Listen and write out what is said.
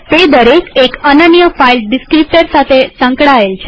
તે દરેક એક અનન્ય ફાઈલ ડીસ્ક્રીપ્ટર સાથે સંકળાયેલ છે